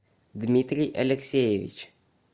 дмитрий алексеевич